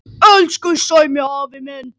Elsku Sæmi afi minn.